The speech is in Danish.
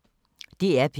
DR P1